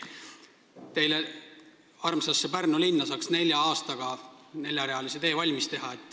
Teile armsasse Pärnu linna saaks nelja aastaga neljarealise tee valmis teha.